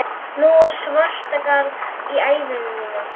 Nú er svartagall í æðum mínum.